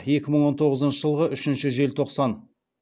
екі мың он тоғызыншы жылғы үшінші желтоқсан